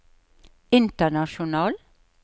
international